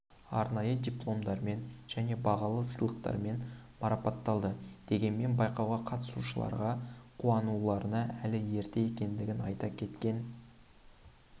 арнайы дипломдармен және бағалы сыйлықтармен марапатталды дегенмен байқауға қатысушыларға қуануларына әлі ерте екендігін айта кеткен